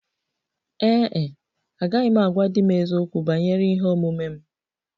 Ee e, agaghị m agwa di m eziokwu banyere ihe omume m